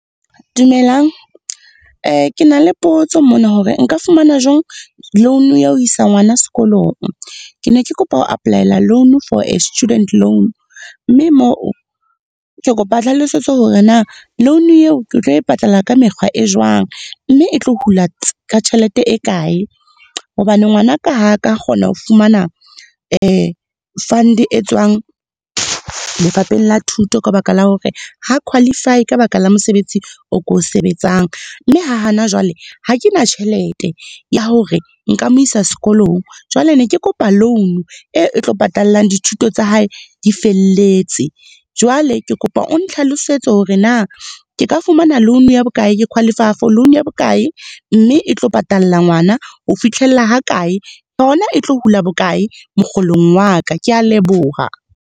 Dumelang. Ke na le potso mona hore nka fumana jwang loan ya ho isa ngwana sekolong. Ke ne ke kopa ho apply-ela loan for a student loan. Mme moo, ke kopa hlalosetso hore na loan eo ke tlo e patala ka mekgwa e jwang, mme e tlo hula tjhelete e kae. Hobane ngwanaka ha ka kgona ho fumana fund e tswang lefapheng la thuto, ka baka la hore ha qualify-e, ka baka la mosebetsi o ko sebetsang. Mme ha hana jwale ha ke na tjhelete ya hore nka mo isa sekolong. Jwale ne ke kopa loan e tlo patallang dithuto tsa hae di felletse. Jwale ke kopa o nhlalosetse hore na, ke ka fumana loan ya bokae, ke qualify-a for loan ya bokae mme e tlo patalla ngwana ho fihlella ha kae. Hona e tlo hula bokae mokgolong wa ka. Kea leboha.